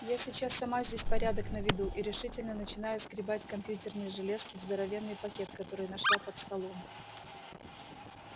я сейчас сама здесь порядок наведу и решительно начинаю сгребать компьютерные железки в здоровенный пакет который нашла под столом